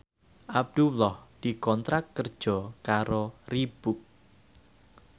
Abdullah dikontrak kerja karo Reebook